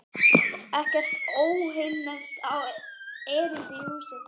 Ekkert óheilnæmt á erindi í húsið.